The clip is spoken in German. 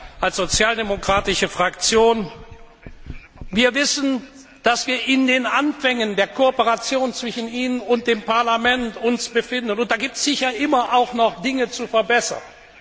Wir als sozialdemokratische Fraktion wissen, dass wir uns in den Anfängen der Kooperation zwischen Ihnen und dem Parlament befinden, und da gibt es sicher immer auch noch Dinge zu verbessern.